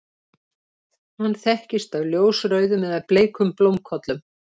hann þekkist af ljósrauðum eða bleikum blómkollum